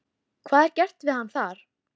Hvað er gert við hann þar?